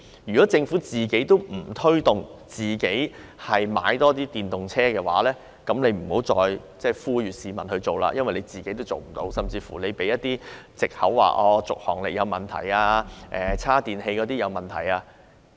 如果政府也不帶頭多買電動車的話，那便不要再呼籲市民購買，因為政府也做不到，甚至以續航力有問題及充電器不足為藉口。